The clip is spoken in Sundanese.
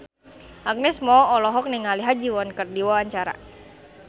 Agnes Mo olohok ningali Ha Ji Won keur diwawancara